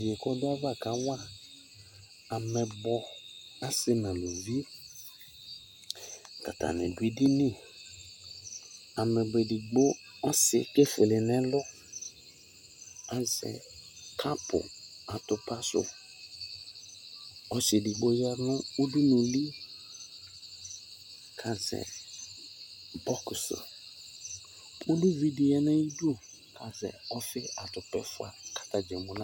Yeye ko ɔdo ava kawa amɛbɔ ɔse no aluvi, ko atane do edini, Amɛbɔ ɔse edigbo ɔse qko efule no ɛlu azɛ kapu atupa so Ɔse edigbo ya no udunuli ko azɛ bɔkusi Uluvi de ya no ko azɛ lfe atopa ɛfua ko ata dza emu na